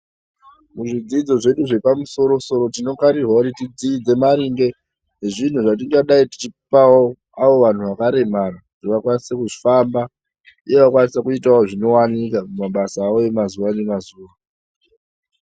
Muzvidzo zvedu zvepamusoro soro tinofanirwawo kuti kudzidze maringe ngezviro zvatingayi tichipawo avo vantu vakaremara kuti vakwanise kufamba uye vakwanise kuita mabasa avo mazuwa nemazuwa.